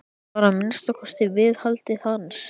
Hún var að minnsta kosti viðhaldið hans.